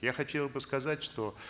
я хотел бы сказать что